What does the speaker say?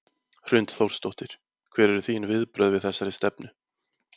Hrund Þórsdóttir: Hver eru þín viðbrögð við þessari stefnu?